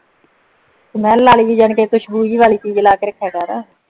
smell ਵਾਲੀ ਯਾਨੀ ਕੀ ਖੁਸ਼ਬੂ ਗਈ ਵਾਲੀ ਚੀਜ਼ਾ ਲਾ ਕੇ ਰੱਖਿਆ ਕਰ